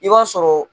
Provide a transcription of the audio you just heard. I b'a sɔrɔ